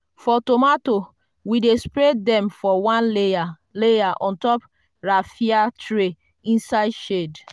for tomato we dey spread them for one layer layer on top raffia tray inside shade.